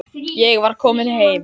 Ég var komin heim.